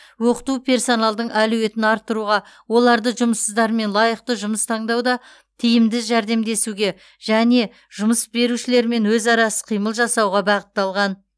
оқыту персоналдың әлеуетін арттыруға оларды жұмыссыздармен лайықты жұмыс таңдауда тиімді жәрдемдесуге және жұмыс берушілермен өзара іс қимыл жасауға бағытталған